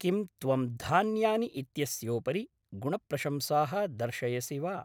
किं त्वं धान्यानि इत्यस्योपरि गुणप्रशंसाः दर्शयसि वा?